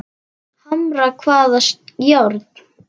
Hamra hvaða járn?